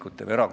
Aitäh!